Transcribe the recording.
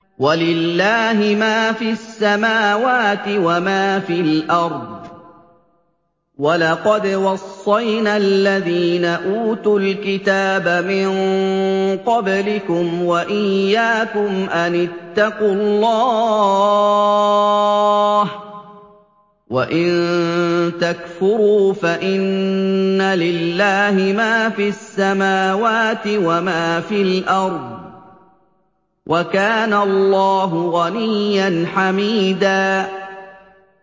وَلِلَّهِ مَا فِي السَّمَاوَاتِ وَمَا فِي الْأَرْضِ ۗ وَلَقَدْ وَصَّيْنَا الَّذِينَ أُوتُوا الْكِتَابَ مِن قَبْلِكُمْ وَإِيَّاكُمْ أَنِ اتَّقُوا اللَّهَ ۚ وَإِن تَكْفُرُوا فَإِنَّ لِلَّهِ مَا فِي السَّمَاوَاتِ وَمَا فِي الْأَرْضِ ۚ وَكَانَ اللَّهُ غَنِيًّا حَمِيدًا